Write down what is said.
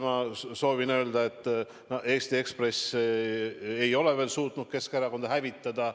Ma soovin öelda, et Eesti Ekspress ei ole veel suutnud Keskerakonda hävitada.